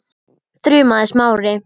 þrumaði Smári.